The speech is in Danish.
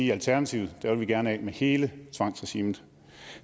i alternativet vil vi gerne af med hele tvangsregimet